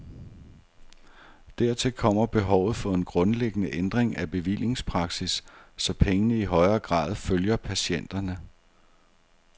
Dertil kommer behovet for en grundlæggende ændring af bevillingspraksis, så pengene i højere grad følger patienterne.